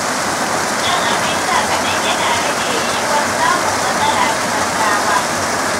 Shan abin sha kaɗan yana rage yiwuwar samun matsala da gaggawa